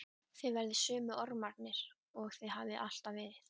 Þið verðið sömu ormarnir og þið hafið alltaf verið.